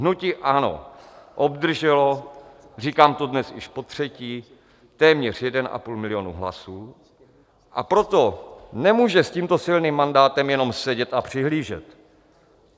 Hnutí ANO obdrželo, říkám to dnes již potřetí, téměř 1,5 milionu hlasů, a proto nemůže s tímto silným mandátem jenom sedět a přihlížet.